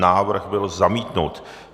Návrh byl zamítnut.